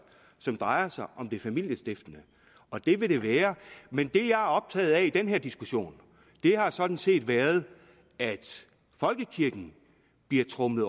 som drejer sig om det familiestiftende og det vil det være men det jeg optaget af i den her diskussion har sådan set været at folkekirken bliver tromlet